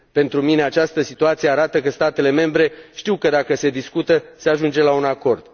Pentru mine, această situație arată că statele membre știu că dacă se discută, se ajunge la un acord.